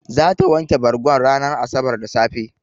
Zata wanke bargon ranar asabar da safe.